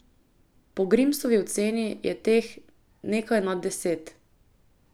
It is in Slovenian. Po Grimsovi oceni je teh nekaj nad deset.